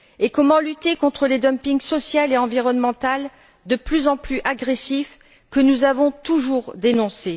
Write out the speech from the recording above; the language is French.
Comment lutter contre le dumping social et environnemental, de plus en plus agressif, que nous avons toujours dénoncé?